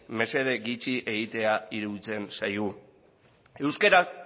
mesede gutxi egitea iruditzen zaigu euskarak